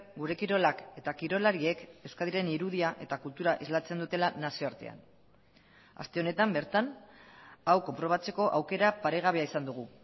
gure kirolak eta kirolariek euskadiren irudia eta kultura islatzen dutela nazioartean aste honetan bertan hau konprobatzeko aukera paregabea izan dugu